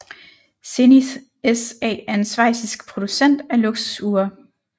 Zenith SA er en schweizisk producent af luksusure